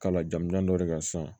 Kala jamanjan dɔ de ka san